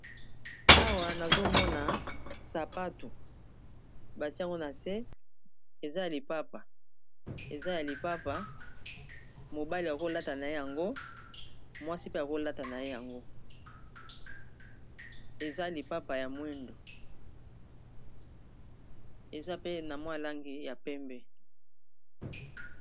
Awa nazomona sapatu batiango na se eza ya lipapa eza ya lipapa mobali yakolata na ye yango mwasi pe yakolata na ye yango eza y lipapa ya mwindo, eza pe na mwalangi ya pembe.